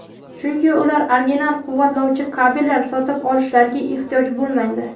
chunki ular original quvvatlovchi kabellar sotib olishlariga ehtiyoj bo‘lmaydi.